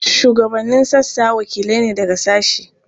Shugabannin sassa wakilai ne daga sashe.